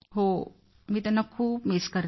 हो मी त्यांना खूप मिस करते